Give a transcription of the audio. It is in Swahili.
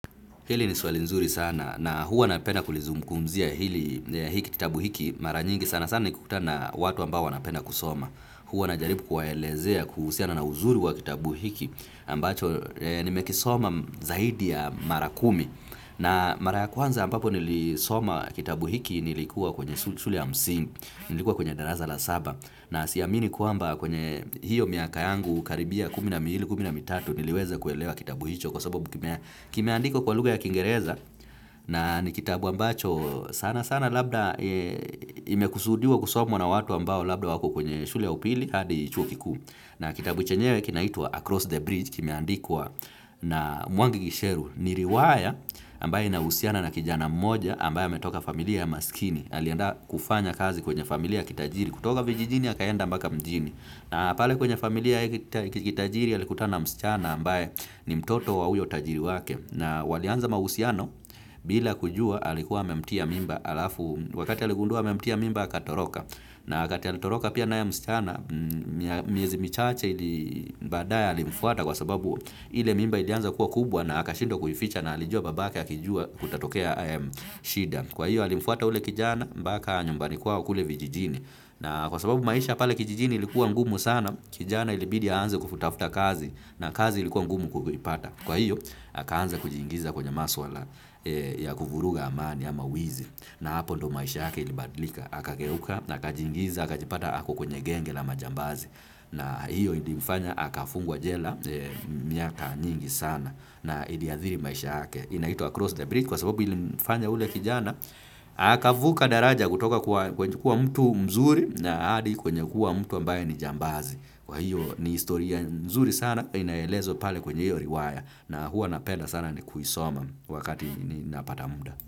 Hili ni swali nzuri sana na huwa napenda kulizungumzia hiki kitabu hiki mara nyingi sana sana nikikutana na watu ambao wanapenda kusoma. Huwa najaribu kuwaelezea kuhusiana na uzuri wa kitabu hiki ambacho nimekisoma zaidi ya mara kumi. Na mara ya kwanza ambapo nilisoma kitabu hiki nilikuwa kwenye shule ya msingi, nilikuwa kwenye darasa la saba. Na siamini kwamba kwenye hiyo miaka yangu karibia kumi na miwili kumi na mitatu niliweza kuelewa kitabu hicho kwa sababu kimeandikwa kwa lugha ya kingereza na ni kitabu ambacho sana sana labda imekusudiwa kusomwa na watu ambao labda wako kwenye shule ya upili hadi chuo kikuu. Na kitabu chenyewe kinaitwa Across the Bridge kimeandikwa na Mwangi Gisheru ni riwaya ambayo inahusiana na kijana mmoja ambaye ametoka familia ya maskini. Alienda kufanya kazi kwenye familia ya kitajiri. Kutoka vijijini akaenda mbaka mjini. Na pale kwenye familia ya kitajiri alikutana na mschana ambaye ni mtoto wa uyo tajiri wake. Na walianza mahusiano bila kujua alikuwa amemtia mimba alafu wakati aligundua amemtia mimba akatoroka. Na kati alitoroka pia naye msichana, miezi michache badaye alimfuata kwa sababu ile mimba ilianza kuwa kubwa na akashindwa kuificha na alijua babake akijua kutatokea haya shida. Kwa hiyo alimfuata ule kijana, mbaka nyumbani kwao kule vijijini. Na kwa sababu maisha pale kijijini ilikuwa ngumu sana, kijana ilibidi aanze kufutafuta kazi na kazi ilikuwa ngumu kuvipata. Kwa hiyo, akaanza kujiingiza kwenye maswala ya kuvuruga amani ama wizi. Na hapo ndo maisha yake ilibadlika. Akageuka na akajiingiza, akajipata ako kwenye genge la majambazi. Na hiyo ilimfanya, akafungwa jela miaka nyingi sana na iliadhiri maisha yake. Inaitwa across the bridge, kwa sababu ilimfanya ule kijana, akavuka daraja kutoka kwenye kuwa mtu mzuri na hadi kwenye kuwa mtu ambaye ni jambazi. Kwa hiyo ni historia mzuri sana, inaelezwa pale kwenye hiyo riwaya na huwa napenda sana kuisoma wakati ninapata muda.